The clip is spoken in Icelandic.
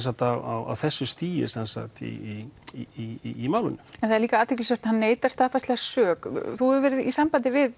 á þessu stigi í í málinu en það er líka athyglisvert að hann neitar staðfastlega sök þú hefur verið í sambandi við